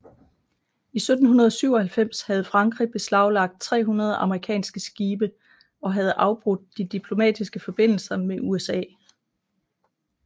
I 1797 havde Frankrig beslaglagt 300 amerikanske skibe og havde afbrudt de diplomatiske forbindelser med USA